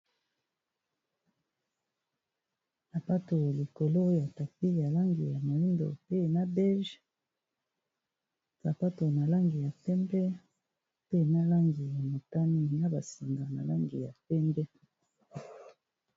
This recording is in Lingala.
Sapato likolo ya tapis ya langi ya moyindo, pe na beige. Sapato na langi ya pembe, pe na langi ya motani, na ba singa na langi ya pembe.